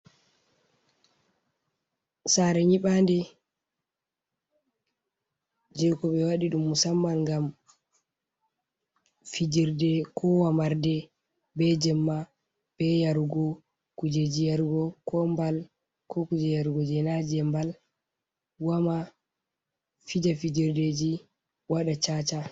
Saare nyiɓaande jey ko ɓe waɗi ɗum musamman ngam fijirde koo wamarde bee jemma, bee yarugo kujeeji yarugo, koo mbal koo kuuje yarugo jay naa jey mbal, wama, fija fijirdeeji waɗa caaca.